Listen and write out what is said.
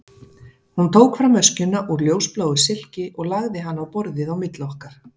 Hún tók fram öskjuna úr ljósbláu silki og lagði hana á borðið á milli okkar.